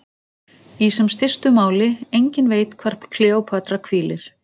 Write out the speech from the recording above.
Í sem stystu máli: enginn veit hvar Kleópatra hvílir.